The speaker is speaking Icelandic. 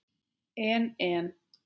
En en.